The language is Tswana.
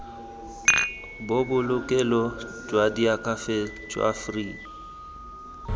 bobolokelo jwa diakhaefe jwa free